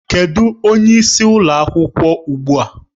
Kedụ onye isi ụlọ akwụkwọ ugbu a?